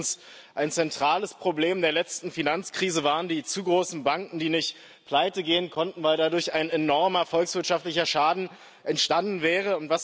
Erstens Ein zentrales Problem der letzten Finanzkrise waren die zu großen Banken, die nicht pleitegehen konnten, weil dadurch ein enormer volkswirtschaftlicher Schaden entstanden wäre.